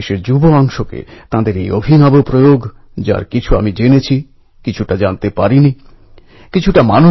চন্দ্রশেখর আজাদের সাহসিকতা এবং স্বাধীনতার জন্য আকুলতা অনেক যুবককেই প্রেরণা জুগিয়েছিল